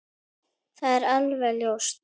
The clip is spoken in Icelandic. Það er alveg ljóst.